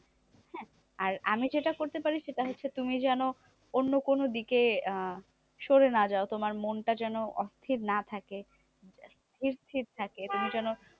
আর আমি যেটা করতে পারি সেটা হচ্ছে, তুমি যেন অন্য কোনো দিকে আহ সরে না যাও? তোমার মনটা যেন অস্থির না থাকে স্থির স্থির থাকে। তুমি যেন।